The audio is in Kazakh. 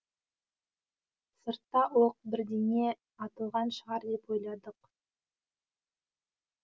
сыртта оқ бірдеңе атылған шығар деп ойладық